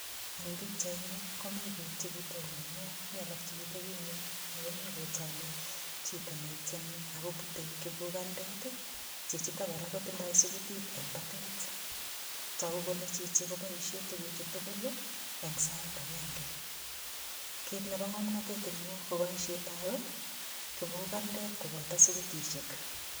Eng pichaini komi biik chekitononio. Mi alak chekitebi ingwony ago mi kotoni chito netieni ago bute kibugandet, chichito kora kotindoi sugutit eng batet, tagu kole chichi koboisie tuguchu tugul eng sait agenge. Kit nebo ngamnatet eng yu koboisietab kibugandet koboto sugutisiek.